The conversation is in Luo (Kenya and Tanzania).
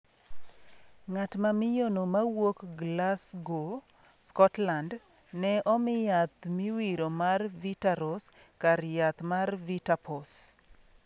Ngat mamiyono mawuok Glasgow, Scotland ne omi yath miwiro mar Vitaros kar yath mar VitA-POS.